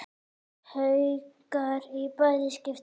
Haukar í bæði skipti.